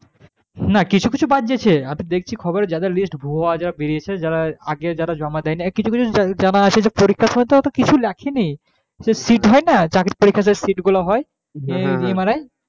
কিছু কিছু বাদ গেছে আমি দেখছি খবরে যাদের list ভুয়ো আজা বেরিয়েছে যারা আগে যারা জমা দেয়নি আর কিছু কিছু জানা আছে যে পরীক্ষার সময় তারা তো কিছু লেখেনি, সেই sit হয় না চাকরির পরীক্ষায় সেই sit গুলো হয় MRI